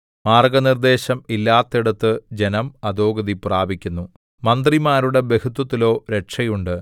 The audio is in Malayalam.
മാർഗ്ഗനിർദ്ദേശം ഇല്ലാത്തയിടത്ത് ജനം അധോഗതി പ്രാപിക്കുന്നു മന്ത്രിമാരുടെ ബഹുത്വത്തിലോ രക്ഷയുണ്ട്